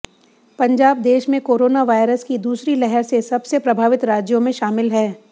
पंजाब देश में corona virus की दूसरी लहर से सबसे प्रभावित राज्यों में शामिल है